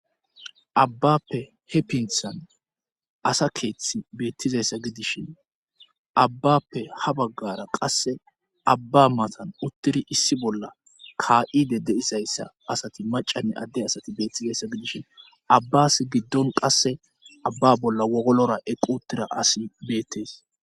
abbappe he pinthan asa keeththi beettizayssa gidishin abbappe ha baggara qasse abba matan uttidi issi bolla kaa7ide de7izayssa asati macanne adde asati beettizayssa gidishin abbas giddon qasse abba bolla wogolora eqqi utida asi beettees